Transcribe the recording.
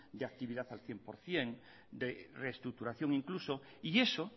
de actividad al cien por ciento de restructuración incluso y eso